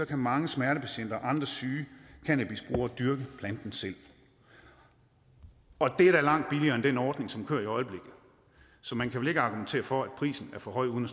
kan mange smertepatienter og andre syge cannabisbrugere dyrke planten selv og det er da langt billigere end den ordning som kører i øjeblikket så man kan vel ikke argumentere for at prisen er for høj uden